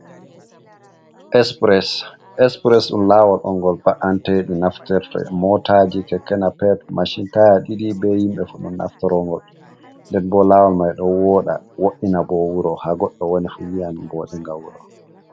Espress, espres dum lawol on gol ba’antedi nafterte motaji, kekenapet, machin taya ɗidi be himɓe fu ɗun naftaro gol, nden bo lawol mai ɗo woda wo’ina bo wuro ha godɗo woni fuyiyan bode nga wuro.